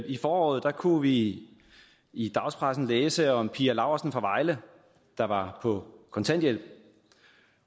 i foråret kunne vi i i dagspressen læse om pia laursen fra vejle der var på kontanthjælp